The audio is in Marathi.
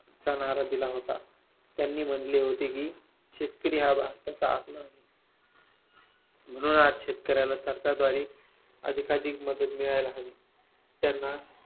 चा नारा दिला होता. त्यांनी म्हणले होते की शेतकरी हा भारताचा आत्मा आहे. म्हणून आज शेतकऱ्याला सरकारद्वारे अधिकाधिक मदत मिळायला हवी. त्यांना